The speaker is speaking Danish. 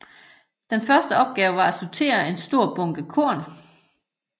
Den første opgave var at sortere en stor bunke korn